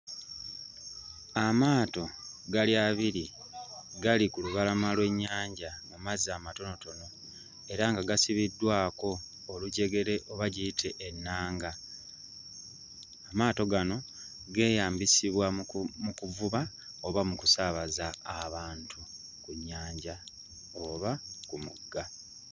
Amaato gali abiri, gali ku lubalama lw'ennyanja mu mazzi amatonotono era nga gasibiddwako olujegere oba giyite ennanga, amaato gano geeyambisibwa mu ku mu kuvuba oba mu kusaabaza abantu ku nnyanja oba ku mugga.